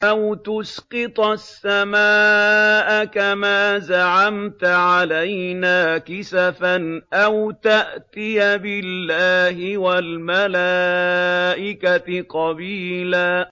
أَوْ تُسْقِطَ السَّمَاءَ كَمَا زَعَمْتَ عَلَيْنَا كِسَفًا أَوْ تَأْتِيَ بِاللَّهِ وَالْمَلَائِكَةِ قَبِيلًا